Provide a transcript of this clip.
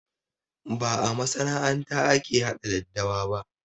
Ba a masana'anta ake haɗa daddawa ba